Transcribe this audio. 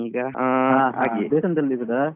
ದೇವಸ್ಥಾನದಲ್ಲಿ ಇರುದಾ?